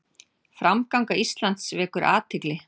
Framganga Íslands vekur athygli